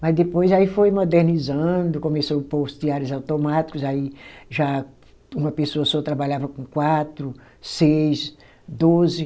Mas depois aí foi modernizando, começou pôr os teares automáticos, aí já uma pessoa só trabalhava com quatro, seis, doze.